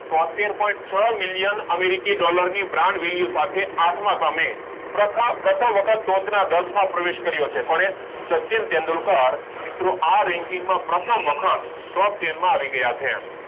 છોતેર પોઇન્ટ છ million americi dollar ની brand value સાથે આઠમા ક્રમે પ્રથ પ્રથમ વખત ટોચ ના દસ માં પ્રવેશ કર્યો છે કોને સચિન તેંડુલકરે મિત્રો આ ranking માં પ્રથમ વખત ટોપ તેન માં આવી ગયા છે